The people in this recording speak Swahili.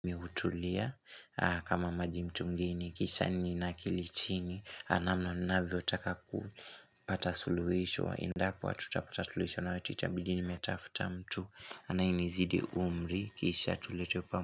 Mi hutulia kama maji mtungini, kisha ninakili chini, namna ninavyotaka kupata suluisho wa endapo hatutaputa suluisho na watu itabidi nimetafuta mtu, anayenizidi umri, kisha tulete.